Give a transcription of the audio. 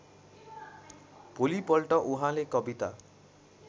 भोलिपल्ट उहाँले कविता